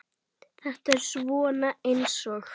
Þetta er svona eins og.